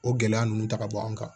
O gɛlɛya ninnu ta ka bɔ an kan